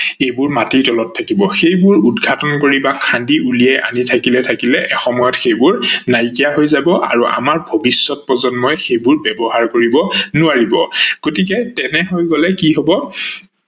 এইবোৰ মাটি তলত থাকিব। সেইবোৰ উদ্ঘাটন কৰি বা খান্দি উলিয়াই আনি থাকিলে থাকিলে এটা সময়ত সেইবোৰ নাইকিয়া হৈ যাব আৰু আমাৰ ভবিষ্যত প্ৰজন্মই সেইবোৰ ব্যৱহাৰ কৰিব নোৱাৰিব, গতিকে তেনে হৈ গলে কি হব